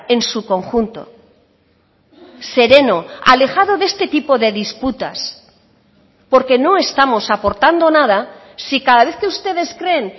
en su conjunto sereno alejado de este tipo de disputas porque no estamos aportando nada si cada vez que ustedes creen